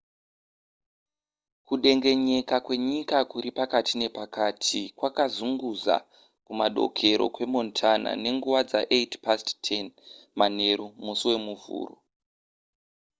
kudengenyeka kwenyika kuri pakati nepakati kwakazunguza kumadokero kwemontana nenguva dza10:08 manheru musi wemuvhuro